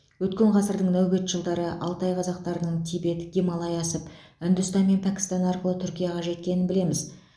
өткен ғасырдың нәубет жылдары алтай қазақтарының тибет гималай асып үндістан мен пәкістан арқылы түркияға жеткенін білеміз